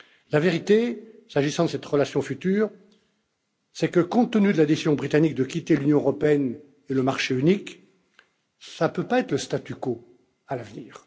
La vérité, s'agissant de cette relation future, c'est que, compte tenu de la décision britannique de quitter l'Union européenne et le marché unique, cela ne peut pas être le statu quo à l'avenir.